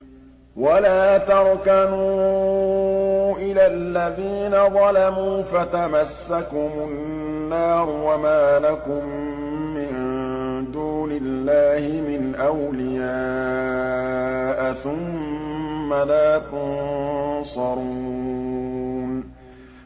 وَلَا تَرْكَنُوا إِلَى الَّذِينَ ظَلَمُوا فَتَمَسَّكُمُ النَّارُ وَمَا لَكُم مِّن دُونِ اللَّهِ مِنْ أَوْلِيَاءَ ثُمَّ لَا تُنصَرُونَ